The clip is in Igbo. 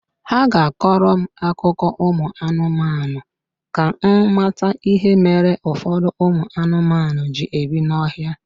Ha ga-akọrọ m akụkọ ụmụ anụmanụ ka m mata ihe mere ụfọdụ ụmụ anụmanụ ji ebi n'ọhịa